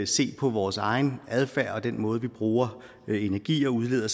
se på vores egen adfærd og den måde vi bruger energi og udleder